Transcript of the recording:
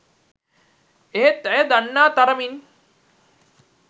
එහෙත් ඇය දන්නා තරමින්